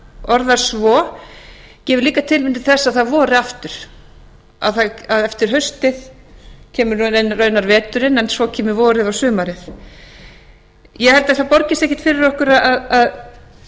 orðar svo gefur líka tilefni til þess að það vori aftur að eftir haustið kemur raunar veturinn en svo kemur vorið og sumarið ég held að það borgi sig ekki fyrir okkur að